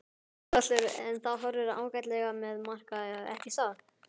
Þórhallur: En það horfir ágætlega með markaði ekki satt?